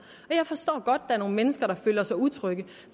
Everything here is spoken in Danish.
og jeg forstår godt at er nogle mennesker der føler sig utrygge